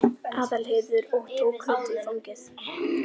Aðalheiður og tók Kötu í fangið.